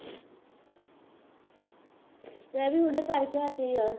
ਮੈਂ ਵੀ ਹੁਣੇ ਕਰਕੇ ਹਟੀਂ ਹਾਂ